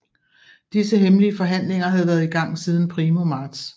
Disse hemmelige forhandlinger havde været i gang siden primo marts